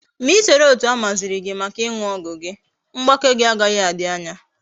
Ma isoro etu amaziri gi Maka iñu ogwu gi, mgbake gi agaghi adi anya